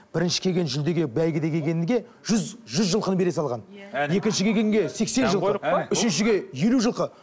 бірінші келген жүлдеге бәйгеге дегенге жүз жүз жылқыны бере салған екінші келгенге сексен жылқы үшіншіге елу жылқы